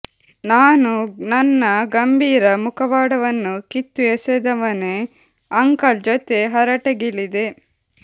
ನಾನೂ ನನ್ನ ಗಂಭೀರ ಮುಖವಾಡವನ್ನು ಕಿತ್ತು ಎಸೆದವನೇ ಅಂಕಲ್ ಜೊತೆ ಹರಟೆಗಿಳಿದೆ